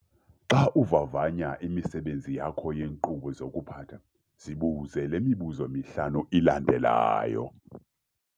Xa uvavanya imisebenzi yakho yeenkqubo zokuphatha, zibuze le mibuzo mihlanu ilandelayo.